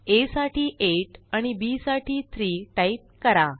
आ साठी 8 आणि बी साठी 3 टाईप करा